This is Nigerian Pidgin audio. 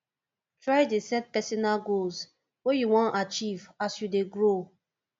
try dey set personal goals wey you wan achieve as you dey grow